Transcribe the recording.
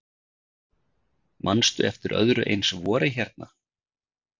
Manstu eftir öðru eins vori hérna?